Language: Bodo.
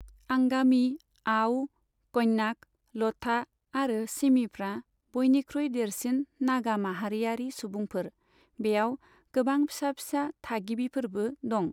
आंगामी, आअ', क'न्याक, ल'था आरो सिमिफ्रा बयनिख्रुइ देरसिन नागा माहारियारि सुबुंफोर, बेयाव गोबां फिसा फिसा थागिबिफोरबो दं।